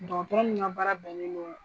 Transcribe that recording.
Dɔgɔtɔrɔ min ka baara bɛn nen do.